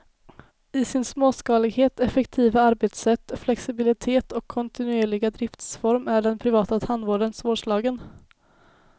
I sin småskalighet, effektiva arbetssätt, flexibilitet och kontinuerliga driftsform är den privata tandvården svårslagen.